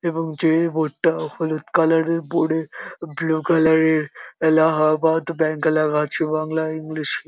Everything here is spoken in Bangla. এবং যে-এ বোর্ডটা হলুদ কালারের বোর্ডে ব্লু কালারের এলাহাবাদ ব্যাংক লেখা আছে বাংলা ইংলিশে ।